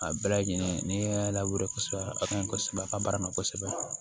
A bɛɛ lajɛlen n'i y'a lawale kosɛbɛ a ka ɲi kosɛbɛ a ka baara ma kosɛbɛ